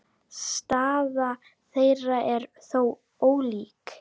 Staða þeirra er þó ólík.